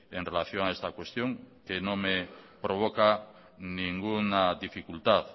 en relación a esta cuestión que no me provoca ninguna dificultad